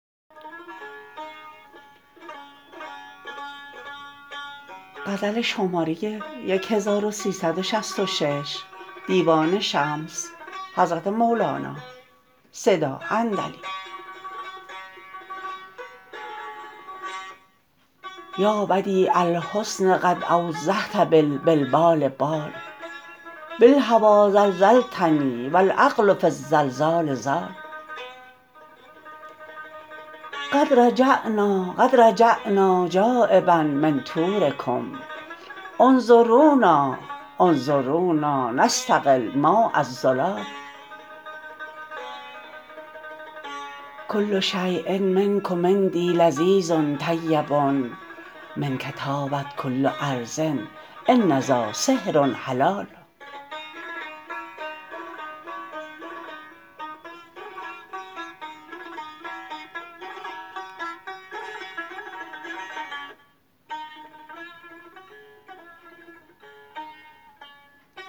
یا بدیع الحسن قد اوضحت بالبلبال بال بالهوی زلزلتنی و العقل فی الزلزال زال قد رجعنا قد رجعنا جانبا من طورکم انظرونا انظرونا نستقی الماء الزلال کل شیء منکم عندی لذیذ طیب منک طابت کل ارض ان ذا سحر حلال